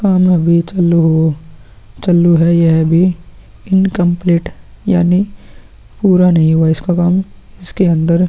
सामने भी चालू है यह भी चालू है यह भी इन्कम्प्लीट यानी की पूरा नहीं हुआ इसका काम इसके अंदर --